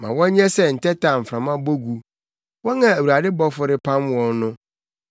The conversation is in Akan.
Ma wɔnyɛ sɛ ntɛtɛ a mframa bɔ gu wɔn a Awurade bɔfo repam wɔn no.